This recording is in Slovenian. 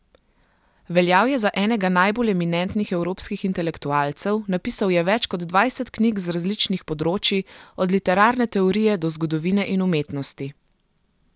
Veljal je za enega najbolj eminentnih evropskih intelektualcev, napisal je več kot dvajset knjig z različnih področij, od literarne teorije do zgodovine in umetnosti.